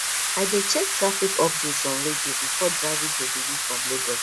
i dey check traffic updates on radio before driving to benin from lagos